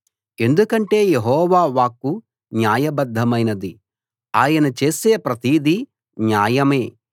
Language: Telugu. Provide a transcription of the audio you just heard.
ఎందుకంటే యెహోవా వాక్కు న్యాయబద్ధమైనది ఆయన చేసే ప్రతిదీ న్యాయమే